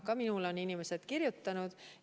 Ka minule on inimesed kirjutanud.